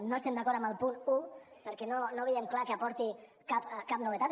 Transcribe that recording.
no estem d’acord amb el punt un perquè no veiem clar que aporti cap novetat